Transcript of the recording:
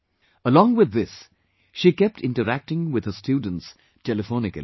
Along with this, she kept interacting with her students telephonically